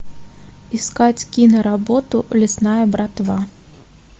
искать киноработу лесная братва